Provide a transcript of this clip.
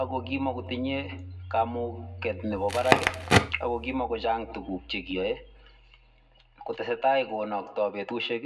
ako kimatinyei kamuget nebo barak ako kimachang tuguk che kiyoe. Kotesetai konaktai betusiek